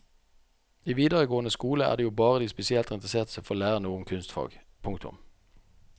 I videregående skole er det jo bare de spesielt interesserte som får lære noe om kunstfag. punktum